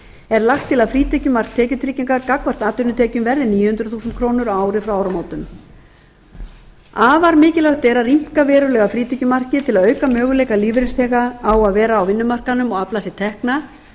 er lagt til að frítekjumark tekjutryggingar gagnvart atvinnutekjum verði níu hundruð þúsund krónur á ári frá áramótum afar mikilvægt er að rýmka verulega frítekjumarkið til að auka möguleika lífeyrisþega á að vera á vinnumarkaðnum og afla sér tekna